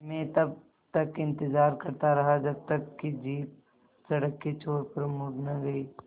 मैं तब तक इंतज़ार करता रहा जब तक कि जीप सड़क के छोर पर मुड़ न गई